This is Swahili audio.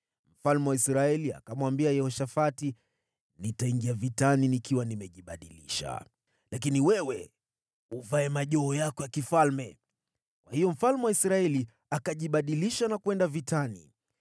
Mfalme wa Israeli akamwambia Yehoshafati, “Nitaingia vitani nikiwa nimejibadilisha, lakini wewe uvae majoho yako ya kifalme.” Kwa hiyo mfalme wa Israeli akajibadilisha na kwenda vitani.